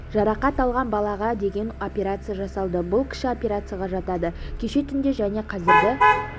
жарақат алған балаға деген операция жасалды бұл кіші операцияға жатады кеше түнде және қазіргі